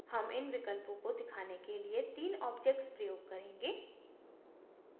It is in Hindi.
हम इन विकल्पों को दिखाने के लिए तीन objects प्रयोग करेंगे